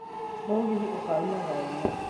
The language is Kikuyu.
Mũgĩthi ũkauma thaa imwe